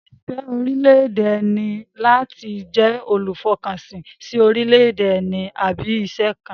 Ìfẹ́ orílẹ̀-èdè ẹni ní láti jẹ́ olùfọkànsìn sí orílẹ̀-èdè ẹni àbí iṣẹ́ kan